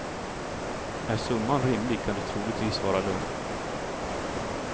Är summan rimlig kan du troligtvis vara lugn.